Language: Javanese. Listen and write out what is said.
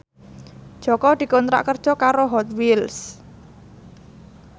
Jaka dikontrak kerja karo Hot Wheels